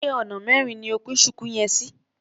Ṣé ona mẹrin ni o pín ṣùkú yẹn sí?